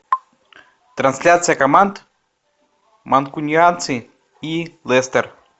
трансляция команд манкунианцы и лестер